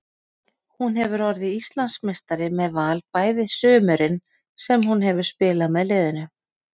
Hún hefur orðið Íslandsmeistari með Val bæði sumurin sem hún hefur spilað með liðinu.